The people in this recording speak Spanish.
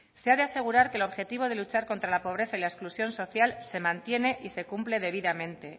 se ha de asegurar que el objetivo de luchar contra la pobreza y la exclusión social se mantiene y se cumple debidamente